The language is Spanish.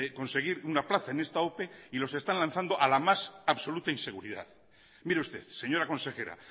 conseguir una plaza en esta ope y los están lanzando a la más absoluta inseguridad mire usted señora consejera